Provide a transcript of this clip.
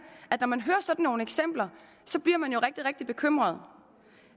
at når man hører sådan nogle eksempler så bliver man jo rigtig rigtig bekymret